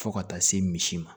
Fo ka taa se misi ma